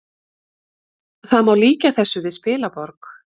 Það má líkja þessu við spilaborg